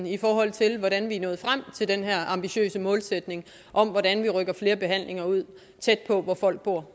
i forhold til hvordan vi er nået frem til den her ambitiøse målsætning om hvordan vi rykker flere behandlinger ud tæt på hvor folk bor